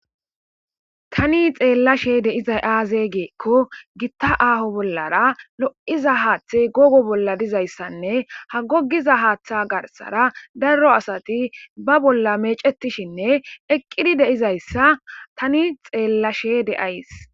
tani xeellashe deizay aaze geekko gitta aaho bollara lo7iza haaththey googo bolla dizayssanne ha gogiza haaththe garsara darro asati ba bolla meecetishinne eqqidi deizayssa tani xeellashe de7ays